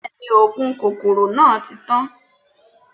Bẹ́ẹ̀ni, oògùn kòkòrò náà ti tán